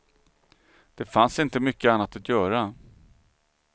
Det fanns inte mycket annat att göra.